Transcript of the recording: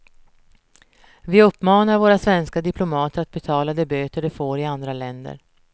Vi uppmanar våra svenska diplomater att betala de böter de får i andra länder.